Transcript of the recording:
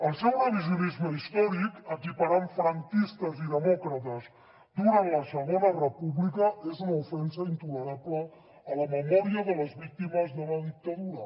el seu revisionisme històric equiparant franquistes i demòcrates durant la segona república és una ofensa intolerable a la memòria de les víctimes de la dictadura